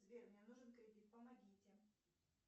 сбер мне нужен кредит помогите